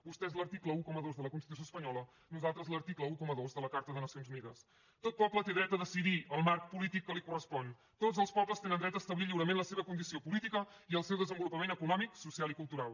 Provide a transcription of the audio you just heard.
vostès l’article dotze de la constitució espanyola nosaltres l’article dotze de la carta de nacions unides tot poble té dret a decidir el marc polític que li correspon tots els pobles tenen dret a establir lliurement la seva condició política i al seu desenvolupament econòmic social i cultural